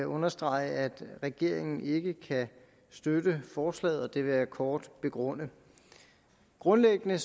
understrege at regeringen ikke kan støtte forslaget og det vil jeg kort begrunde grundlæggende